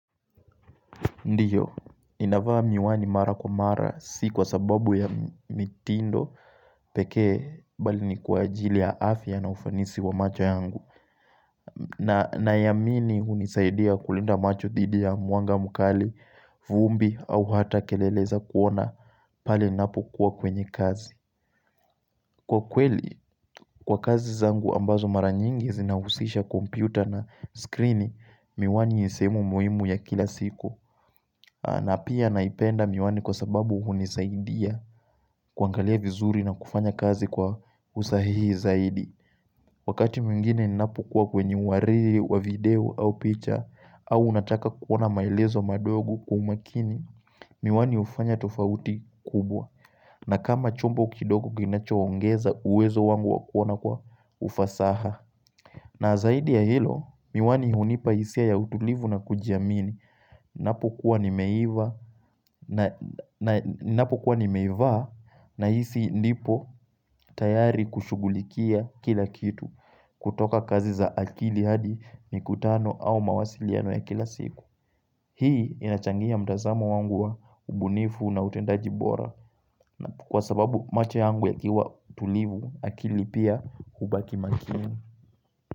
Ndio, ninavaa miwani mara kwa mara, si kwa sababu ya mitindo pekee, mbali ni kwa ajili ya afya na ufanisi wa macho yangu, na na amini hunisaidia kulinda macho dhidi ya mwanga mkali, vumbi, au hata kelele za kuona pale ninapo kuwa kwenye kazi Kwa kweli, kwa kazi zangu ambazo mara nyingi zinahusisha kompyuta na skrini miwani ni sehemu muhimu ya kila siku na pia naipenda miwani, kwa sababu hunisaidia kuangalia vizuri na kufanya kazi kwa usahihi zaidi Wakati mwingine ninapo kuwa kwenye wari wa video au picha au nataka kuona maelezo madogo kwa umakini Miwani hufanya tofauti kubwa, na kama chombo kidogo kinacho ongeza uwezo wangu wakona kwa ufasaha na zaidi ya hilo, miwani hunipa hisia ya utulivu na kujiamini Ninapo kuwa nimeivaa nahisi nipo tayari kushughulikia kila kitu kutoka kazi za akili, hadi mikutano au mawasiliano ya kila siku Hii inachangia mtazamo wangu wa ubunifu na utendaji bora na kwa sababu macho yangu yakiwa tulivu akili pia hubaki makini.